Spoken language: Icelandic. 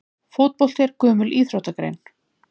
Fótbolti er gömul íþróttagrein.